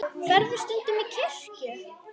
Ferðu stundum í kirkju?